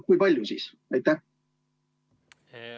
Kui jah, siis kui palju?